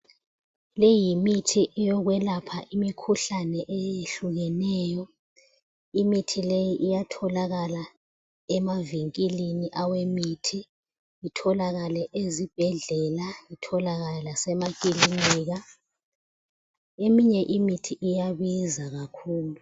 Le yimithi yokwelapha imikhuhlane eyehlukeneyo. Imithi leyi iyatholakala emavinkilini awemithi, itholakale ezibhedlela, itholakale lasemakilinika. Eminye imithi iyabiza kakhulu.